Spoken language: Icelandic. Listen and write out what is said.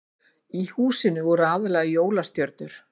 Í húsinu voru aðallega jólastjörnur